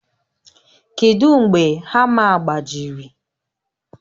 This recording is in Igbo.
Kedu mgbe hama gbajiri?